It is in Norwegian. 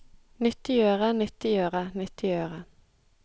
nyttiggjøre nyttiggjøre nyttiggjøre